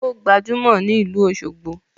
O gbajumo ni ilu Oshogbo